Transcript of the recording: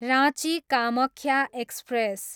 Ranchi, Kamakhya express